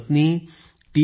त्यांनी पत्नी टी